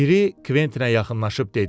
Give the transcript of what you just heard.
Biri Kventinə yaxınlaşıb dedi.